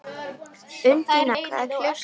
Undína, hvað er klukkan?